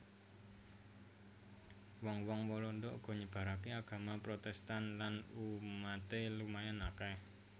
Wong wong Walanda uga nyebaraké agama Protèstan lan umaté lumayan akèh